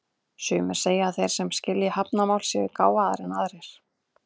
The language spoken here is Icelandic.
Sumir segja að þeir sem skilji hrafnamál séu gáfaðri en aðrir.